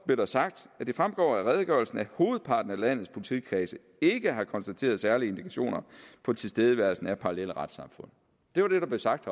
blev der sagt at det fremgår af redegørelsen at hovedparten af landets politikredse ikke har konstateret særlige indikationer på tilstedeværelsen af parallelle retssamfund det var det der blev sagt